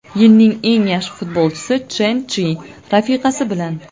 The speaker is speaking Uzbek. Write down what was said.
Yilning eng yaxshi futbolchisi Chjen Chji rafiqasi bilan.